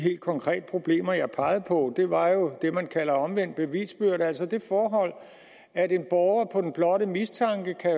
helt konkrete problemer som jeg pegede på var jo det er man kalder omvendt bevisbyrde altså det forhold at en borger på den blotte mistanke kan